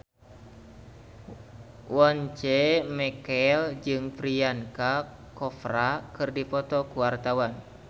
Once Mekel jeung Priyanka Chopra keur dipoto ku wartawan